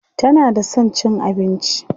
tana da San cin abinci